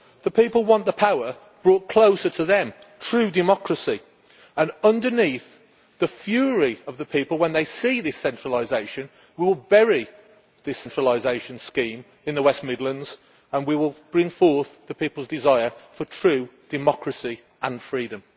The people want the power brought closer to them true democracy and, underneath, the fury of the people when they see this centralisation will bury this centralisation scheme in the West Midlands and we will bring forth the people's desire for true democracy and freedom.